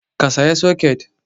Ka saya soket!